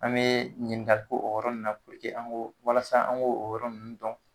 An bee ɲininka k'o o yɔrɔ ninnu na puruke an k'o walasa an k'o yɔrɔ ninnu dɔn